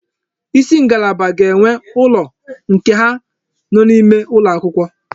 Isi ngalaba ga-enwe ụlọ nke ha n'ime ụlọ akwụkwọ